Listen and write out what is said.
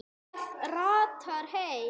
Það ratar heim.